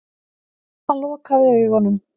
Úff, ég er alveg að stikna stundi Tóti og stóð upp.